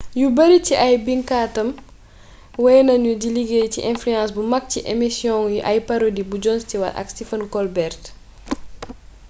yu bari ci ay binkatam wey nañu di liggéey ci influence bu mag ci amisiyoŋu ay parodi bu jon stewart ak stephen colbert